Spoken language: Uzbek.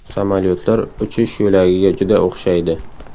Samolyotlar uchish yo‘lagiga juda o‘xshaydi.